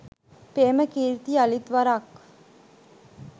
ප්‍රේමකීර්ති යළිත් වරක්